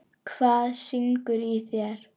Hvað syngur í þér?